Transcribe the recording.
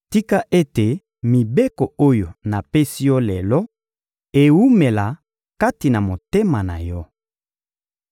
Tika ete mibeko oyo napesi yo lelo, ewumela kati na motema na yo.